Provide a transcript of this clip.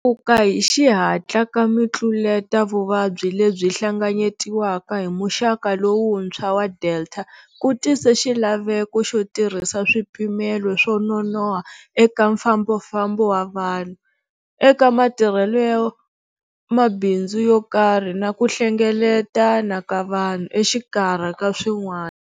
Tlakuka hi xihatla ka mitluletavuvabyi leyi hlanganyetiwaka hi muxaka lowuntshwa wa Delta ku tise xilaveko xo tirhisa swipimelo swo nonoha eka mfambafambo wa vanhu, eka matirhelo ya mabindzu yo karhi na ku hlengeletana ka vanhu, exikarhi ka swin'wana.